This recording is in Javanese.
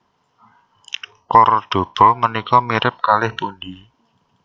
Kordoba menika mirip kalih pundi?